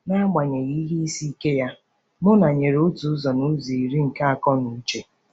N'agbanyeghị ihe isi ike ya, Muna nyere otu ụzọ n'ụzọ iri nke akọ na uche.